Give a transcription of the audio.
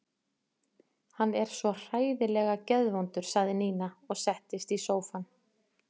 Hann er svo hræðilega geðvondur sagði Nína og settist í sófann.